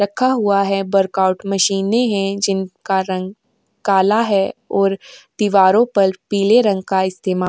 रखा हुआ है। वर्काउट मशीनें हैं| जिनका रंग काला है और दीवारों पर पीले रंग का इस्तेमा --